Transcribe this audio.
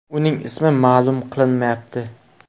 Uning ismi ma’lum qilinmayapti.